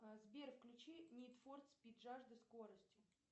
сбер включи нид фор спид жажда скорости